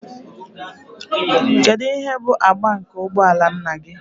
Kedu ihe bụ agba nke ụgbọ ala nna gị?